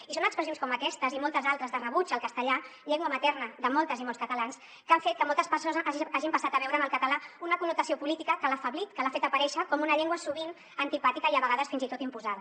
i són expressions com aquestes i moltes altres de rebuig al castellà llengua materna de moltes i molts catalans que han fet que moltes persones hagin passat a veure en el català una connotació política que l’ha afeblit que l’ha fet aparèixer com una llengua sovint antipàtica i a vegades fins i tot imposada